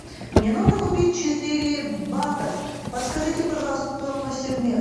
мне нужно купить четыре батов подскажите пожалуйста стоимость обмена